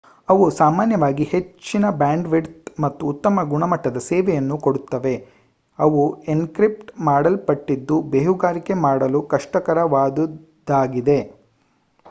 ಅವು ಸಾಮಾನ್ಯವಾಗಿ ಹೆಚ್ಚಿನ ಬ್ಯಾಂಡ್ವಿಡ್ತ್ ಮತ್ತು ಉತ್ತಮ ಗುಣಮಟ್ಟದ ಸೇವೆಯನ್ನು ಕೊಡುತ್ತವೆ ಅವು ಎನ್ಕ್ರಿಪ್ಟ್ ಮಾಡಲ್ಪಟ್ಟಿದ್ದು ಬೇಹುಗಾರಿಕೆ ಮಾಡಲು ಕಷ್ಟಕರವಾದುದಾಗಿದೆ